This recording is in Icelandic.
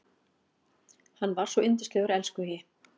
Hann var svo yndislegur elskhugi.